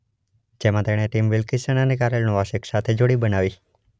જેમાં તેણે Tim Wilkison અને કારેલ નોવાસેક સાથે જોડી બનાવી.